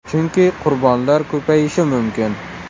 Chunki qurbonlar ko‘payishi mumkin.